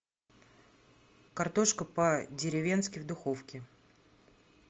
картошка по деревенски в духовке